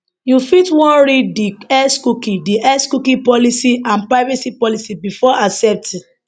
you fit wan read di x cookie di x cookie policy and privacy policy before accepting